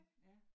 Ja